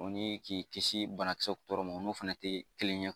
O ni k'i kisi bana kisɛw tɔɔrɔ ma o n'o fana tɛ kelen ye